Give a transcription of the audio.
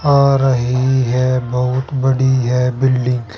आ रही है बहुत बड़ी है बिल्डिंग --